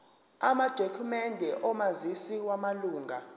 amadokhumende omazisi wamalunga